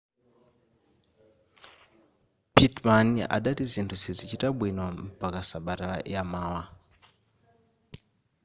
pittman adati zinthu sizichita bwino mpaka sabata yamawa